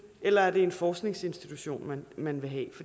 eller er det en forskningsinstitution man vil have